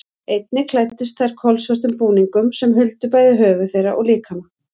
Einnig klæddust þær kolsvörtum búningum sem huldu bæði höfuð þeirra og líkama.